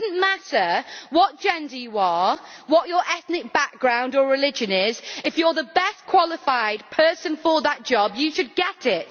It should not matter what gender you are or what your ethnic background or religion is if you are the best qualified person for that job, you should get it.